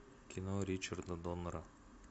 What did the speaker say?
кино ричарда доннера